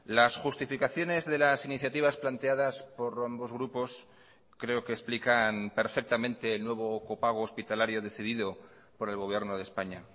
las justificaciones de las iniciativas planteadas por ambos grupos creo que explican perfectamente el nuevo copago hospitalario decidido por el gobierno de españa